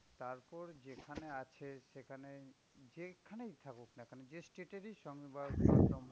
তারপর যেখানে আছে সেখানে যেইখানেই থাকুকনা যে state এর ই সংবাদ